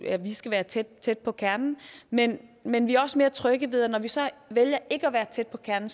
at vi skal være tæt tæt på kernen men men vi er også mere trygge ved at når vi så vælger ikke at være tæt på kernen